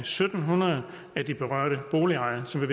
syv hundrede af de berørte boligejere som